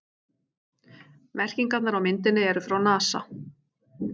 Merkingarnar á myndinni eru frá NASA.